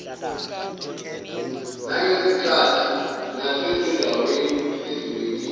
nangezikhathi nasezindaweni ezibekiwe